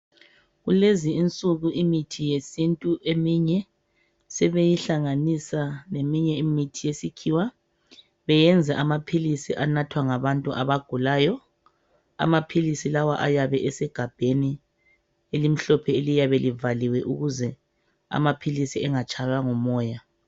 Kulezi insuku imithi yesintu eminye sebeyihlanganisa leminye imithi yesikhiwa beyenze amaphilisi anathwa ngabantu abagulayo, amaphilisi lawa ayabe esegabheni elimhlophe eliyabe livaliwe ukuze amaphilisi engatshaywa ngumoya.